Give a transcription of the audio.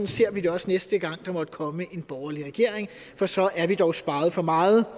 ser vi det også næste gang der måtte komme en borgerlig regering for så er vi dog sparet for meget